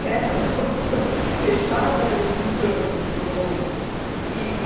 quieta no, fechada e num canto, assim, num... E